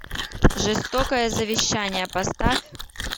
жестокое завещание поставь